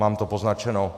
Mám to poznačeno.